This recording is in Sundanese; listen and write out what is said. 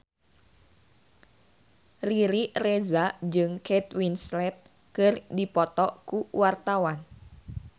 Riri Reza jeung Kate Winslet keur dipoto ku wartawan